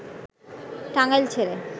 টাঙ্গাইল ছেড়ে